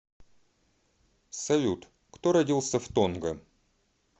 салют кто родился в тонга